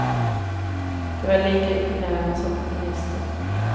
De var lika imponerade som ministern.